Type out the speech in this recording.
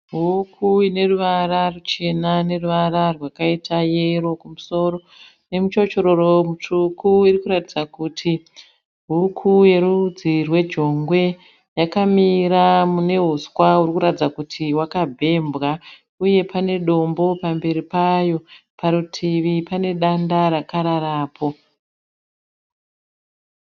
Huku ine ruvara ruchena neruvara rwakaita yero kumusoro nemuchochororo mutsvuku, irikuratidza kuti huku yerudzi rwejongwe yakamira mune huswa hurikuratidza kuti hwakabhembwa uye pane dombo pamberi payo, parutivi pane danda rakararapo.